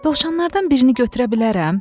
Dovşanlardan birini götürə bilərəm?